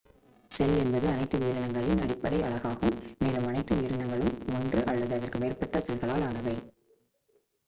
செல் என்பது அனைத்து உயிரினங்களின் அடிப்படை அலகாகும் மேலும் அனைத்து உயிரினங்களும் ஒன்று அல்லது அதற்கு மேற்பட்ட செல்களால் ஆனவை